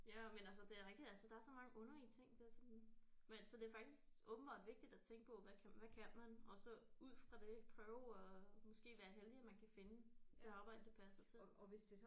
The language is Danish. Ja men altså det er rigtigt altså der er så mange underlige ting der er sådan vent så det er faktisk åbenbart vigtigt at tænke på hvad kan hvad kan man og så ud fra det prøve at måske være heldig at man kan finde et arbejde der passer til